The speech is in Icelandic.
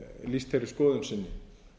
lýst þeirri skoðun sinni